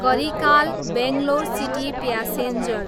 Karikala, Bangalore city passenger